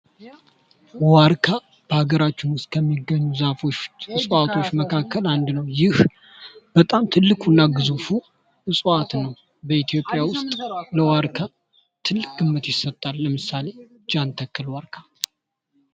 ዋርካ በሃገራችን ውስጥ ከሚገኙ ዛፎች ወይም እጽዋቶች መካከል አንዱ ነው ። ይህ በጣም ትልቁ እና ግዙፉ እፅዋት ነው በኢትዮጵያ ውስጥ ለዋርካ ትልቅ ግምት ይሰጣል ።ለምሳሌ ጃን ተከል ዋርካ ።